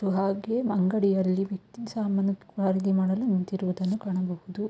ಹಾಗೆ ಅಂಗಡಿಯಲ್ಲಿ ಸಾಮಾನುಗಳನ್ನು ಖರೀದಿ ಮಾಡಲು ನಿಂತಿರುವುದನ್ನು ಕಾಣಬಹುದು.